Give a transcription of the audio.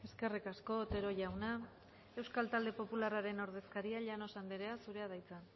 eskerrik asko otero jauna euskal talde popularraren ordezkaria llanos anderea zurea da hitza